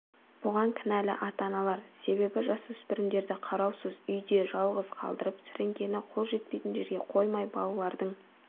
бұған кінәлі ата-аналар себебі жасөспірімдерді қараусыз үйде жалғыз қалдырып сіріңкені қол жетпейтін жерге қоймай балалардың